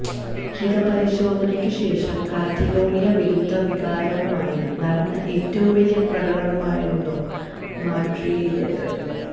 ഹിതപരിശോധനയ്ക്കുശേഷം Catalonia വിരുദ്ധ വികാരവുമായി നടന്ന ഏറ്റവും വലിയ പ്രകടനമായിരുന്നു മാഡ്രിഡിലേത്